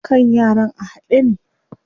Kan yaran a haɗe ne.